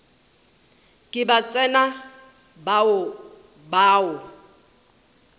ke ba tsena ba o